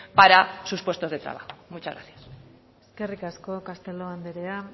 para sus puestos de trabajo muchas gracias eskerrik asko castelo andrea